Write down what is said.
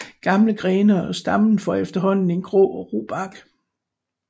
Gamle grene og stammen får efterhånden en grå og ru bark